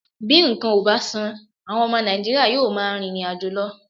Bí nǹkan ò bá sàn, àwọn ọmọ Nàìjíríà yóò máa rìnrìn àjò lọ